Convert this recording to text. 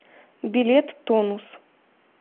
билет тонус